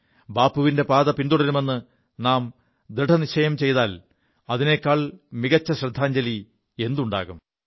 ബാപ്പുവിന്റെ പാത പിന്തുടരുമെു നാം ദൃഢനിശ്ചയം ചെയ്താൽ അതിനേക്കാൾ മികച്ച ശ്രദ്ധാഞ്ജലി എന്തുണ്ടാകും